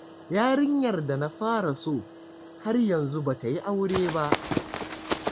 Yarinyar da na fara so, har yanzu ba ta yi aure ba.